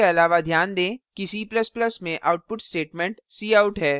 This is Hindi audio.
इसके अलावा ध्यान दें कि c ++ में output statement cout है